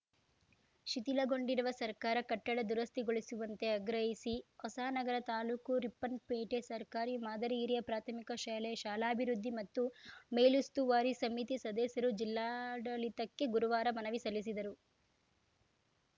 ಶಿಥಿಲಗೊಂಡಿರುವ ಸರಕಾರ ಕಟ್ಟಡ ದುರಸ್ತಿಗೊಳಿಸುವಂತೆ ಆಗ್ರಹಿಸಿ ಹೊಸನಗರ ತಾಲೂಕು ರಿಪ್ಪನ್‌ ಪೇಟೆ ಸರ್ಕಾರಿ ಮಾದರಿ ಹಿರಿಯ ಪ್ರಾಥಮಿಕ ಶಾಲೆಯ ಶಾಲಾಭಿವೃದ್ಧಿ ಮತ್ತು ಮೇಲುಸ್ತುವಾರಿ ಸಮಿತಿ ಸದಸ್ಯರು ಜಿಲ್ಲಾಡಳಿತಕ್ಕೆ ಗುರುವಾರ ಮನವಿ ಸಲ್ಲಿಸಿದರು